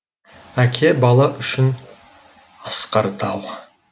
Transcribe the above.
әке бала үшін асқар тау